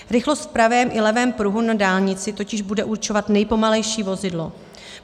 Rychlost v pravém i levém pruhu na dálnici totiž bude určovat nejpomalejší vozidlo.